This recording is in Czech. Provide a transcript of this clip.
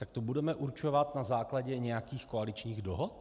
Tak to budeme určovat na základě nějakých koaličních dohod?